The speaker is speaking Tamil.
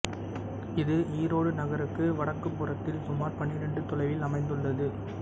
இது ஈரோடு நகருக்கு வடக்குப்புறத்தில் சுமார் பன்னிரண்டு தொலைவில் அமைந்துள்ளது